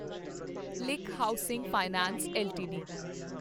link housing finance LTD